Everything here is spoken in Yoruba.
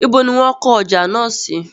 Ibo ní wón kọ́ ọjà náà sí?